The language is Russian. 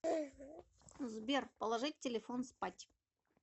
сбер положить телефон спать